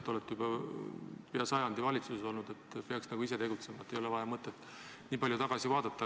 Te olete juba peaaegu sajandi valitsuses olnud, peaks nagu ise tegutsema, ei ole vaja ega mõtet nii palju tagasi vaadata.